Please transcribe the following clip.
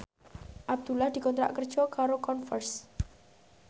Abdullah dikontrak kerja karo Converse